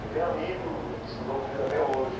Eu tenho amigo que estudou comigo até hoje.